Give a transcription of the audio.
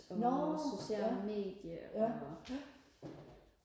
og sociale medier og